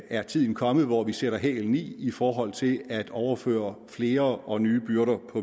er tiden kommet hvor vi sætter hælene i i forhold til at overføre flere og nye byrder